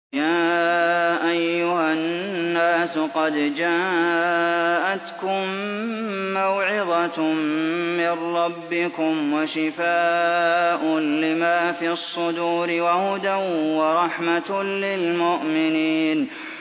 يَا أَيُّهَا النَّاسُ قَدْ جَاءَتْكُم مَّوْعِظَةٌ مِّن رَّبِّكُمْ وَشِفَاءٌ لِّمَا فِي الصُّدُورِ وَهُدًى وَرَحْمَةٌ لِّلْمُؤْمِنِينَ